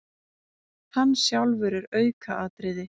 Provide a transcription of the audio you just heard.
Hann sjálfur er aukaatriði.